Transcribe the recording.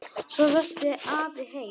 Svo rölti afi heim.